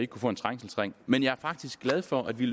kunne få en trængselsring men jeg er faktisk glad for at vi